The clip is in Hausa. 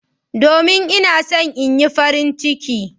Domin ina so in Yi farin ciki.